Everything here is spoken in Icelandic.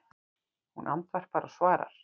Hún andvarpar og svarar